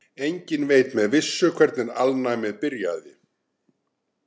Enginn veit með vissu hvernig alnæmi byrjaði.